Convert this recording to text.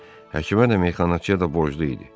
Həkimə də, meyxanaçıya da borclu idi.